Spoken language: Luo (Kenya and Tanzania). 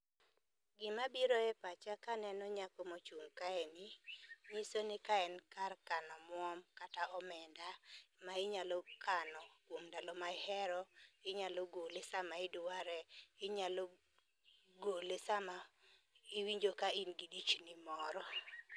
Gima biro e pacha kaneno nyako mochung' kae ni , nyiso ni kae en kar kano omwom kata omenda ma inyalo kano kuom ndalo ma ier, inyalo gole sama idware inyalo gole sama iwinjo ka in gi dichni moro.